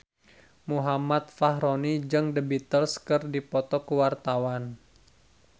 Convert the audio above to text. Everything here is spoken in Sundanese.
Muhammad Fachroni jeung The Beatles keur dipoto ku wartawan